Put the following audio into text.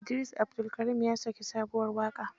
Idris Abdulkarim ya saki sabuwar waƙa